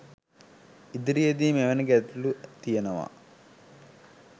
ඉදිරියේදී මෙවැනි ගැටලු තියනවා